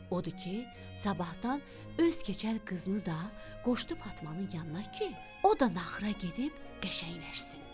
Odur ki, sabahdan öz keçəl qızını da qoşdu Fatmanın yanına ki, o da naxıra gedib qəşəngləşsin.